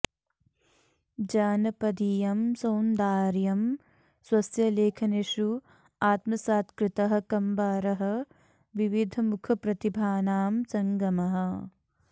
जानपदीयं सौन्दार्यं स्वस्य लेखनेषु आत्मसात्कृतः कम्बारः विविधमुखप्रतिभानां सङ्गमः